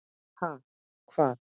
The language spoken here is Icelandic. Ha, hvað?